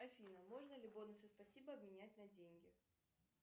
афина можно ли бонусы спасибо обменять на деньги